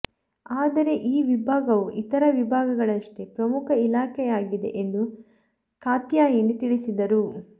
ಆದರೆ ಈ ವಿಭಾಗವು ಇತರ ವಿಭಾಗಗಳಷ್ಟೇ ಪ್ರಮುಖ ಇಲಾಖೆಯಾಗಿದೆ ಎಂದು ಕಾತ್ಯಾಯಿನಿ ತಿಳಿಸಿದರು